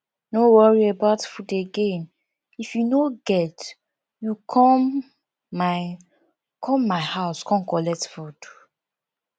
no worry about food again if you no get you come my come my house come collect food